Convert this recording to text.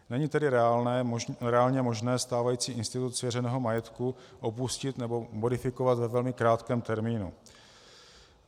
Není tedy reálně možné stávající institut svěřeného majetku opustit nebo modifikovat ve velmi krátkém termínu.